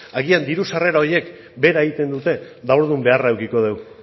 agian diru sarrera horiek bera egiten dute eta orduan beharra edukiko dugu